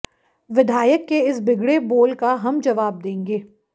विधायक के इस बिगड़े बोल का हम जवाब देंगे